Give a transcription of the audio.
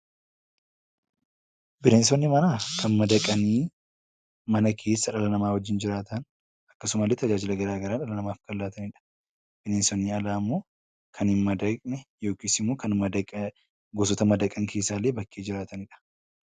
Bineensonni manaa kan madaqanii dhala namaa wajjin mana keessa jiraatan, akkasumas illee tajaajila garaa garaa namaaf kan laatanidha. Bineensonni alaa immoo kan hin madaqne yookiin bineensota madaqan keessaa bakkee jiraatanidha.